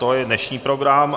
To je dnešní program.